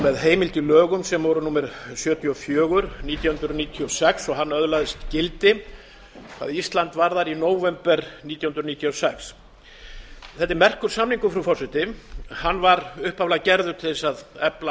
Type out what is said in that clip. með heimild í lögum sem voru númer sjötíu og fjögur nítján hundruð níutíu og sex og hann öðlaðist gildi hvað ísland varðar í nóvember nítján hundruð níutíu og sex þetta er merkur samningur frú forseti hann var upphaflega gerður til að efla